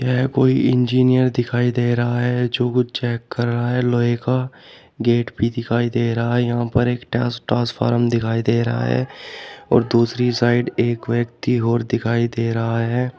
यह कोई इंजीनियर दिखाई दे रहा है जो कुछ चेक कर रहा है लोहे का गेट भी दिखाई दे रहा है यहां पर एक ट्रांसफॉर्म दिखाई दे रहा है और दूसरी साइड एक व्यक्ति और दिखाई दे रहा है।